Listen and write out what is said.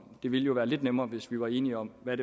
det vil jo være lidt nemmere hvis vi var enige om hvad